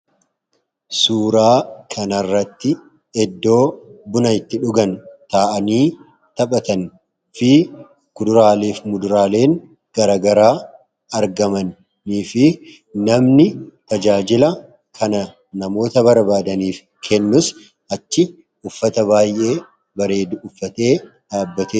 Suuraa kanaarratti eddoo buna itti dhugan taa'anii taphatan fi kuduraaleef muduraaleen garagaraa argamanii fi namni tajaajila kana namoota barbaadaniif kennuus achi uffata baay'ee bareedu uffatee dhaabbate.